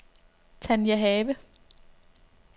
Tania Have